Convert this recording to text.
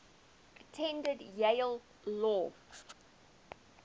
attended yale law